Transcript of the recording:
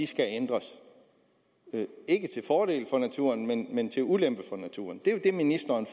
skal ændres ikke til fordel for naturen men men til ulempe for naturen det er jo det ministeren